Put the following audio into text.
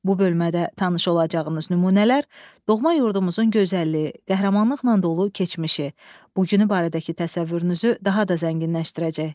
Bu bölmədə tanış olacağınız nümunələr doğma yurdumuzun gözəlliyi, qəhrəmanlıqla dolu keçmişi, bu günü barədəki təsəvvürünüzü daha da zənginləşdirəcək.